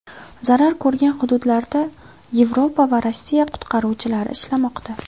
Zarar ko‘rgan hududlarda Yevropa va Rossiya qutqaruvchilari ishlamoqda.